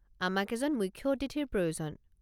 আমাক এজন মূখ্য অতিথিৰ প্ৰয়োজন।